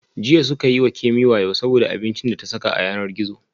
Jiya suka yi wa Kemi wayo saboda abincin da ta saka a yanar gizo